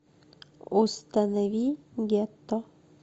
установи гетто